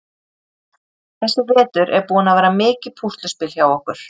Þessi vetur er búinn að vera mikið púsluspil hjá okkur.